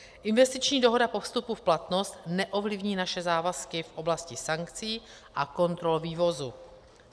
Investiční dohoda po vstupu v platnost neovlivní naše závazky v oblasti sankcí a kontrol vývozu.